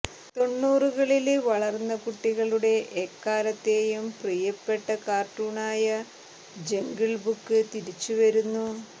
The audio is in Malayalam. തൊണ്ണൂറുകളില് വളര്ന്ന കുട്ടികളുടെ എക്കാലത്തേയും പ്രിയപ്പെട്ട കാര്ട്ടൂണായ ജംഗിള് ബുക്ക് തിരിച്ചുവരുന്നു